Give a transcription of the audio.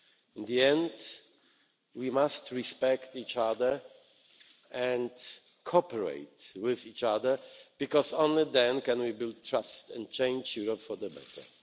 In the end, we must respect each other and cooperate with each other, because only then can we build trust and change Europe for the better.